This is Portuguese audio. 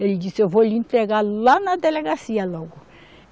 Ele disse, eu vou lhe entregar lá na delegacia logo.